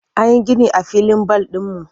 An yi gini a filin bal ɗinmu.